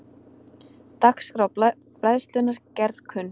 Dagskrá Bræðslunnar gerð kunn